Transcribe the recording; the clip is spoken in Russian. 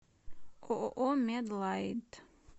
ооо медлайт